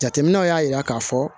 Jateminɛw y'a jira k'a fɔ